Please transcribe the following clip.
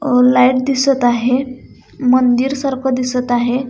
अ light दिसत आहे मंदिर सारख दिसत आहे.